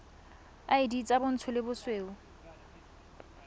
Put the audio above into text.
id tsa bontsho le bosweu